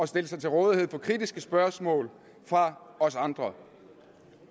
stille sig til rådighed for kritiske spørgsmål fra os andre